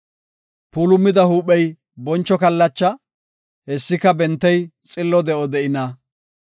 Puulumida huuphey boncho kallacha; hessika bentey xillo de7o de7ina.